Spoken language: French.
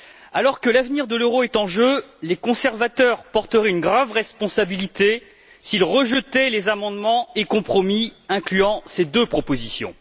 Alors que l'avenir de l'euro est en jeu, les conservateurs porteraient une grave responsabilité s'ils rejetaient les amendements et compromis incluant ces deux propositions.